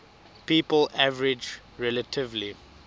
people average relatively